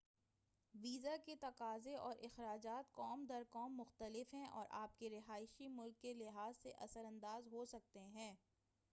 visa کے تقاضے اور اخراجات قوم در قوم مختلف ہیں اور آپ کے رہائشی ملک کے لحاظ سے اثرانداز ہو سکتے ہیں